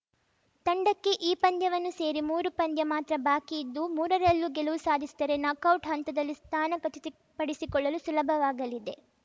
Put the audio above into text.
ತಂಡಕ್ಕೆ ಈ ಪಂದ್ಯವನ್ನು ಸೇರಿ ಮೂರು ಪಂದ್ಯ ಮಾತ್ರ ಬಾಕಿ ಇದ್ದು ಮೂರರಲ್ಲೂ ಗೆಲುವು ಸಾಧಿಸಿದರೆ ನಾಕೌಟ್‌ ಹಂತದಲ್ಲಿ ಸ್ಥಾನ ಖಚಿತಪಡಿಸಿಕೊಳ್ಳಲು ಸುಲಭವಾಗಲಿದೆ